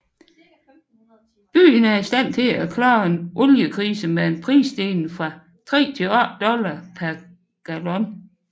Byen er i stand til at klare en oliekrise med en prisstigning fra 3 til 8 dollars per gallon